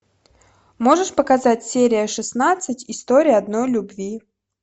можешь показать серия шестнадцать история одной любви